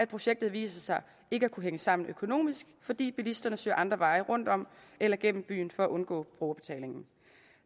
projektet viser sig ikke at kunne hænge sammen økonomisk fordi bilisterne søger andre veje rundt om eller gennem byen for at undgå brugerbetaling